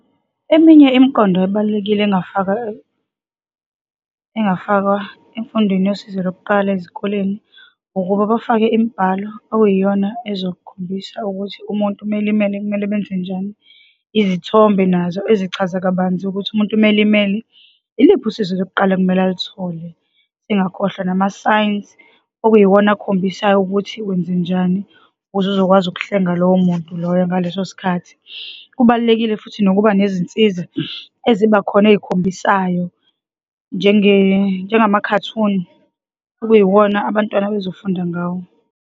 Eminye imiqondo ebalulekile engafakwa, engafakwa emfundweni yosizo lokuqala ezikoleni, ukuba bafake imibhalo okuyiyona ezokhombisa ukuthi umuntu uma elimele, kumele benzenjani, izithombe nazo ezichaza kabanzi ukuthi umuntu uma elimele, iliphi usizo lokuqala ekumele aluthole, engakhohlwa nama-signs, okuyiwona akhombisayo ukuthi wenzenjani ukuze uzokwazi ukuhlenga lowo muntu loyo ngalesosikhathi. Kubalulekile futhi nokuba nezinsiza ezibakhona ey'khombisayo njengama-cartoon, okuyiwona abantwana abezofunda ngawo.